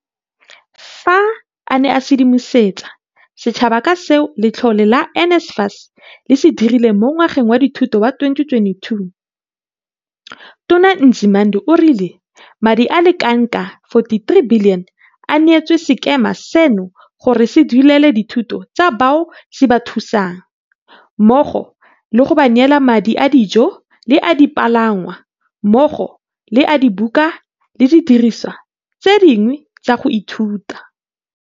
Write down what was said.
Fa a ne a sedimosetsa setšhaba ka seo letlole la NSFAS le se dirileng mo ngwageng wa dithuto wa 2022, Tona Nzimande o rile madi a le kanaka R43 bilione a neetswe sekema seno gore se duelele dithuto tsa bao se ba thusang, mmogo le go ba neela le madi a dijo le a dipalangwa, mmogo le a dibuka le didirisiwa tse dingwe tsa go ithuta.